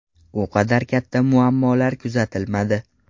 U qadar katta muammolar kuzatilmadi.